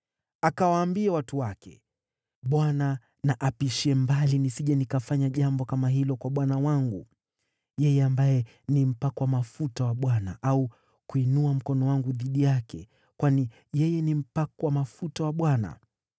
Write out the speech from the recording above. Akawaambia watu wake, “ Bwana na apishie mbali nisije nikafanya jambo kama hilo kwa bwana wangu, yeye ambaye ni mpakwa mafuta wa Bwana , au kuinua mkono wangu dhidi yake; kwani yeye ni mpakwa mafuta wa Bwana .”